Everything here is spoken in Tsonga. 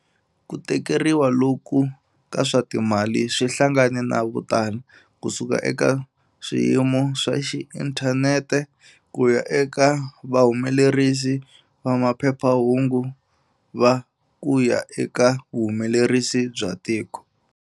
Ku tikeriwa loku ka swa timali swi hlangane na votala, kusuka eka swiyimo swa xi inthanete ku ya eka vahumelerisi va mapephahungu va kuya eka vuhumelrisi bya tiko.